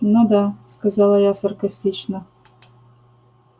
ну да сказала я саркастично